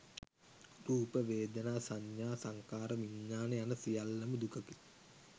රූප, වේදනා, සඤ්ඤා, සංඛාර, විඤ්ඤාණ යන සියල්ලම දුකකි.